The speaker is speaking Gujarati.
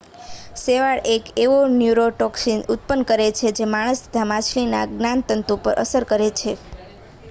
શેવાળ એક એવો ન્યૂરોટોક્સીન ઉત્પન્ન કરે છે જે માણસ તથા માછલીના જ્ઞાનતંતુ પર અસર કરે છે